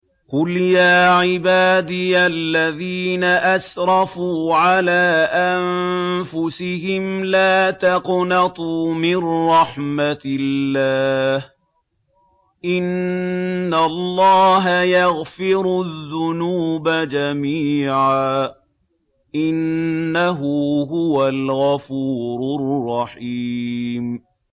۞ قُلْ يَا عِبَادِيَ الَّذِينَ أَسْرَفُوا عَلَىٰ أَنفُسِهِمْ لَا تَقْنَطُوا مِن رَّحْمَةِ اللَّهِ ۚ إِنَّ اللَّهَ يَغْفِرُ الذُّنُوبَ جَمِيعًا ۚ إِنَّهُ هُوَ الْغَفُورُ الرَّحِيمُ